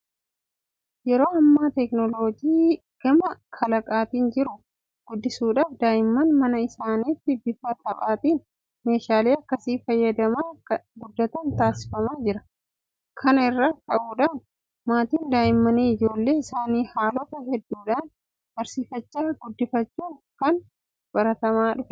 Yeroo ammaa teekinooloojii gama kalaqaatiin jiru guddisuudhaaf daa'imman mana isaaniitti bifa taphaatiin meeshaalee akkasii fayyadamaa akka guddatan taasifamaa jira. Kana irraa ka'uudhaan maatiin daa'immanii ijoollee isaanii haalota hedduudhaan barsiifachaa guddifachuun kun baratamaa dhufeera.